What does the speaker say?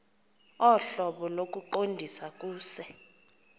ohlobo lokuqondisa kuse